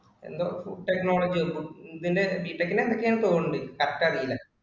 എന്തോ food technology യോ എന്തിന്റെ B Tech ഇന്റെ എന്തൊക്കെ യോ ആണെന്ന് തോന്നുന്നുണ്ട് correct അറിയില്ല